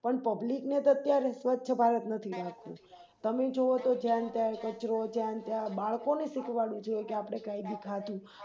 પણ Public ને તો અત્યારે સ્વચ્છ ભારત નથી લાગતું તમે જોવોન તો જ્યાંન ત્યાં કચરો જ્યાંન ત્યાં બાળકોને એ સીખવાડવું જોઈએ કે આપણે કાય ભી ખાધું